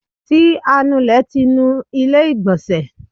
ti anulè ti nú ilé igbonse?